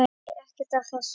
Nei, ekkert af þessu.